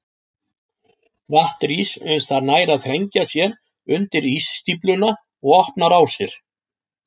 Vatn rís uns það nær að þrengja sér undir ísstífluna og opna rásir.